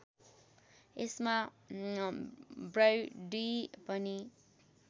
यसमा ब्रैडी पनि